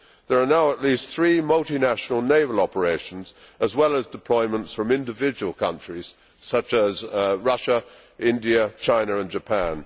There are now at least three multinational naval operations as well as deployments from individual countries such as Russia, India, China and Japan.